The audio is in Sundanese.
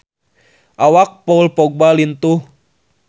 Awak Paul Dogba lintuh